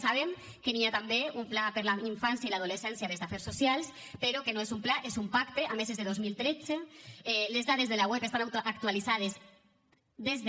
sabem que hi ha també un pla per la infància i l’adolescència des d’afers so cials però que no és un pla és un pacte a més és de dos mil tretze les dades de la web estan actualitzades des de